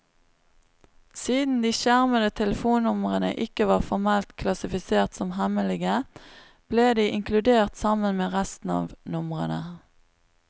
Siden de skjermede telefonnumrene ikke var formelt klassifisert som hemmelige, ble de inkludert sammen med resten av numrene.